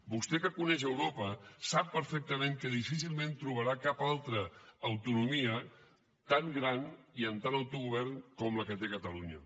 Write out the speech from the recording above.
vostè que coneix europa sap perfectament que difícilment trobarà cap altra autonomia tan gran i amb tant autogovern com la que té catalunya